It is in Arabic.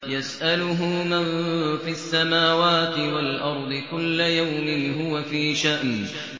يَسْأَلُهُ مَن فِي السَّمَاوَاتِ وَالْأَرْضِ ۚ كُلَّ يَوْمٍ هُوَ فِي شَأْنٍ